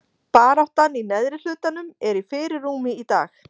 Baráttan í neðri hlutanum er í fyrirrúmi í dag.